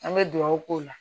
An bɛ dugawu k'o la